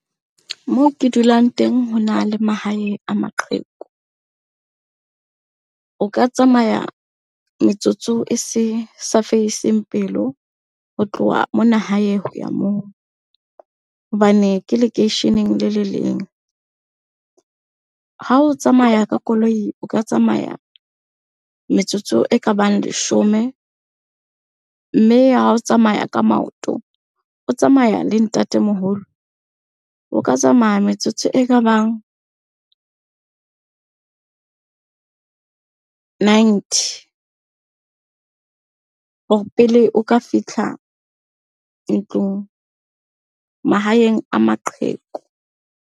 Moo ke dulang teng ho na le mahae a maqheku. O ka tsamaya metsotso e se sa fediseng pelo ho tloha mona hae hoya moo hobane ke lekeisheneng le le leng. Ha o tsamaya ka koloi, o ka tsamaya metsotso e ka bang leshome. Mme ha o tsamaya ka maoto o tsamaya le ntatemoholo, o ka tsamaya metsotso e ka bang ninety hore pele o ka fitlha ntlong, mahaeng a maqheku.